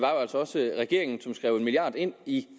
regering som skrev en milliard kroner ind i